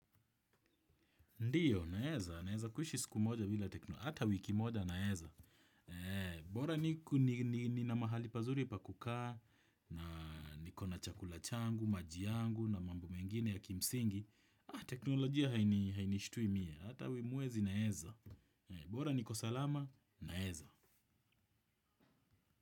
Ndiyo, naeza. Naeza kuishi siku moja bila teknolojia. Hata wiki moja, naeza. Bora nina mahali pazuri pa kukaa, na niko na chakula changu, maji yangu, na mambo mengine ya kimsingi. Teknolojia hainishtui mimi. Hata mwezi, naeza. Bora niko salama, naeza.